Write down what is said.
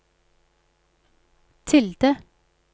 tilde